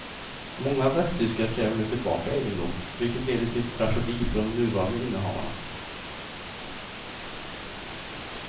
Många västtyskar kräver nu tillbaka egendom, vilket leder till tragedi för de nuvarande innehavarna.